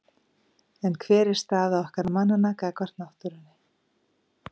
En hver er staða okkar mannanna gagnvart náttúrunni?